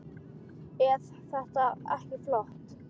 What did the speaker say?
Eð þetta ekki flott?